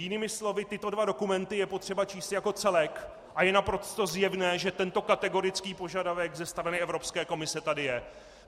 Jinými slovy, tyto dva dokumenty je potřeba číst jako celek a je naprosto zjevné, že tento kategorický požadavek ze strany Evropské komise tady je.